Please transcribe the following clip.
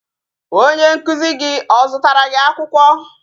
Onye nkụzi gị o zụtara gị akwụkwọ?